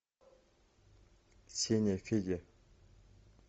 сеняфедя